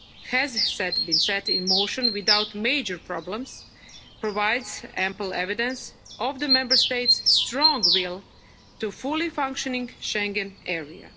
coordinated way has been set in motion without major problems provides ample evidence of the Member States' strong will for a fully-functioning